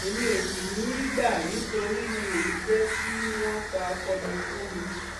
èmi ò sì ní í gbà nítorí n óò ní í jẹ kí wọn pa ọkọ mi fún mi